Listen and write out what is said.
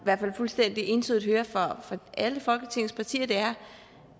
hvert fald fuldstændig entydigt hører fra alle folketingets partier er